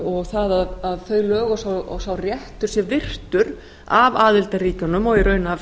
og það að þau lög og sá réttur sé virtur af aðildarríkjunum og í raun af